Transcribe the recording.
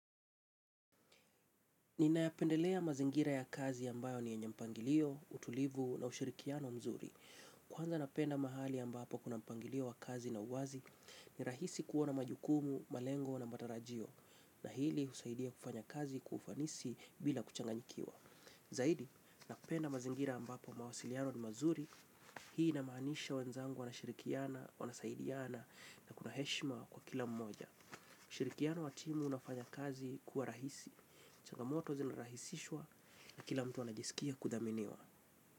Ninayapendelea mazingira ya kazi ambayo ni yenye mpangilio, utulivu na ushirikiano mzuri. Kwanza napenda mahali ambapo kuna mpangilio wa kazi na uwazi, ni rahisi kuona majukumu, malengo na matarajio. Na hili usaidia kufanya kazi, kwa ufanisi bila kuchanganyikiwa. Zaidi, napenda mazingira ambapo mawasiliano ni mazuri, hii inamaanisha wenzangu wanashirikiana, wanasaidiana na kuna heshima kwa kila mmoja. Shirikiano wa timu unafanya kazi kuwa rahisi. Changamoto zinarahisishwa na kila mtu anajisikia kudhaminiwa.